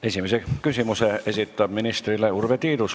Esimese küsimuse esitab ministrile Urve Tiidus.